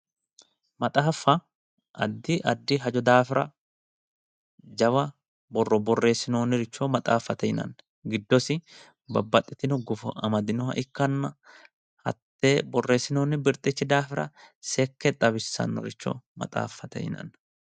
maxaaffa addi addi hajo daafira jawa borro borreessinooniricho maxaaffate yinanni giddosi babbaxitino gufo amadinoha ikkanna hatte borreessinoonni birxichi daafo seekke xawisannoricho maxaaffate yinanni.